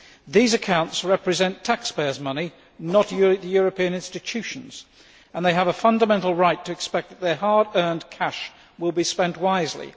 These accounts represent taxpayers' money, not European Union institutions', and they have a fundamental right to expect that their hard earned cash will be spent wisely.